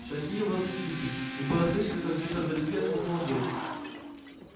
шаги его затихли и было слышно как где-то вдалеке хлопнула дверь